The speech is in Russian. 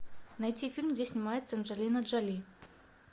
найти фильм где снимается анджелина джоли